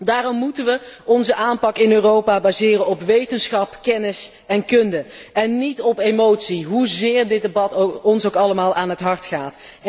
Daarom moeten we onze aanpak in Europa baseren op wetenschap, kennis en kunde, en niet op emotie, hoezeer dit debat ons ook allemaal aan het hart gaat.